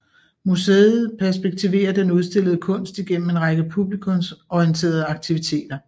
Museet perspektiverer den udstillede kunst igennem en række publikumsorienterede aktiviteter